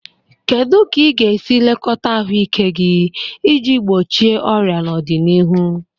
Kedu ka ị ga-esi lekọta ahụike gị iji gbochie ọrịa n'ọdịnihu?